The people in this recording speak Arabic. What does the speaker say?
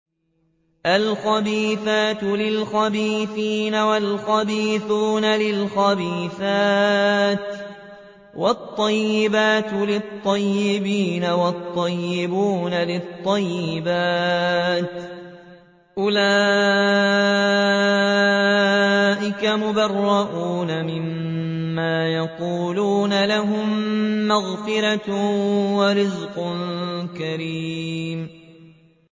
الْخَبِيثَاتُ لِلْخَبِيثِينَ وَالْخَبِيثُونَ لِلْخَبِيثَاتِ ۖ وَالطَّيِّبَاتُ لِلطَّيِّبِينَ وَالطَّيِّبُونَ لِلطَّيِّبَاتِ ۚ أُولَٰئِكَ مُبَرَّءُونَ مِمَّا يَقُولُونَ ۖ لَهُم مَّغْفِرَةٌ وَرِزْقٌ كَرِيمٌ